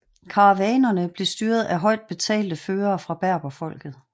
Karavanerne blev styret af højt betalte førere fra berberfolket